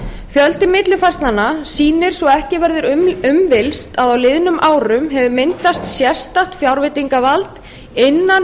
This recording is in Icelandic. fjöldi millifærslnanna sýnir svo ekki verður um villst að á liðnum árum hefur myndast sérstakt fjárveitingavald innan